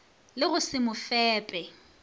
le go se mo fepe